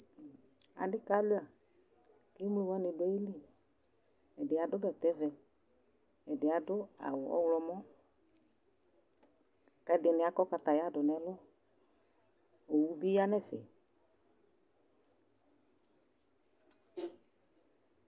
Adɩ kalʋɩa kʋ emlo wanɩ dʋ ayili Ɛdɩ adʋ bɛtɛvɛ, ɛdɩ adʋ awʋ ɔɣlɔmɔ kʋ ɛdɩnɩ akɔ kataya dʋ nʋ ɛlʋ Owu bɩ ya nʋ ɛfɛ